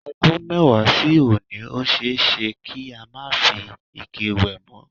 O̩dún mé̩wàá sí òní, ó s̩e é s̩e kí a má fi ike wè̩ mó̩.